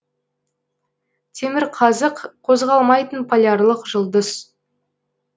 темірқазық қозғалмайтын полярлық жұлдыз